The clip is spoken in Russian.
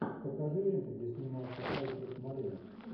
покажи ленты где снимался альфред молина